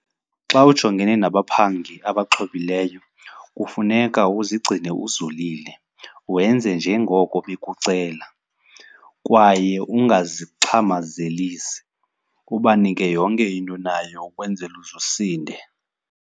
Xa ujongene nabaphangi abaxhobileyo kufuneka uzigcine uzolile wenze njengoko bekucela kwaye ungazixhamazelisi. Ubanike yonke into onayo ukwenzela uze usinde.